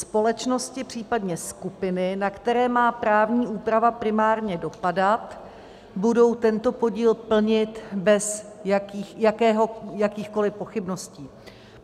Společnosti, případně skupiny, na které má právní úprava primárně dopadat, budou tento podíl plnit bez jakýchkoli pochybností.